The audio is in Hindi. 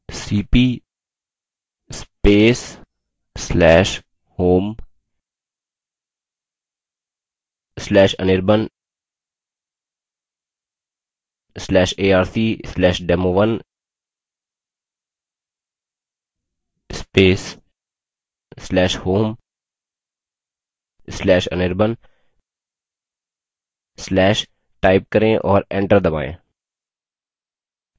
$cp/home/anirban/arc/demo1/home/anirban/type करें और enter दबायें